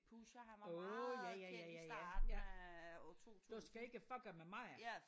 Åh ja ja ja ja ja du skal ikke fucke med mig